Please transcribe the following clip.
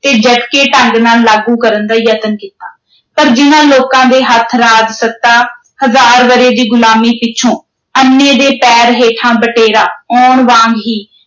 ਤੇ ਢੰਗ ਨਾਲ ਲਾਗੂ ਕਰਨ ਦਾ ਯਤਨ ਕੀਤਾ। ਪਰ ਜਿਨ੍ਹਾਂ ਲੋਕਾਂ ਦੇ ਹੱਥ ਰਾਜਸੱਤਾ ਹਜ਼ਾਰ ਵਰ੍ਹੇ ਦੀ ਗੁਲਾਮੀ ਪਿੱਛੋਂ ਅੰਨ੍ਹੇ ਦੇ ਪੈਰ ਹੇਠਾਂ ਬਟੇਰਾ ਆਉਣ ਵਾਂਗ ਹੀ